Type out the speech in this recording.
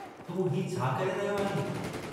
तूं हीउ छा करे रहियो आहीं?